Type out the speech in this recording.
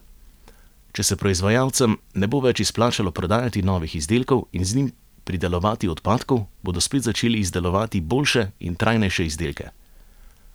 Če se proizvajalcem ne bo več izplačalo prodajati novih izdelkov in z njimi pridelovati odpadkov, bodo spet začeli izdelovati boljše in trajnejše izdelke.